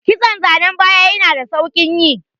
Kiston zanan baya yana da sauƙi yi.